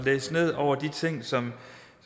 læse ned over de ting som